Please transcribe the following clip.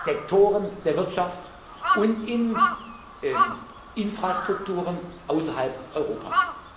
Sektoren der Wirtschaft und in Infrastrukturen außerhalb Europas.